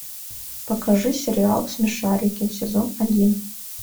покажи сериал смешарики сезон один